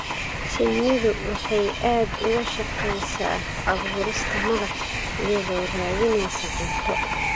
Shinnidu waxay aad uga shaqaysaa abuurista malab, iyadoo raadinaysa cunto.